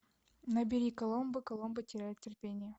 набери коломбо коломбо теряет терпение